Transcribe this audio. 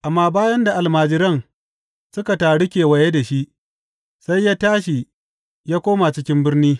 Amma bayan da almajiran suka taru kewaye da shi, sai ya tashi ya koma cikin birni.